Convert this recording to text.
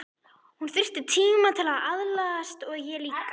Hún þyrfti tíma til að aðlagast og ég líka.